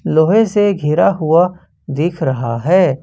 लोहे से घिरा हुआ दिख रहा है।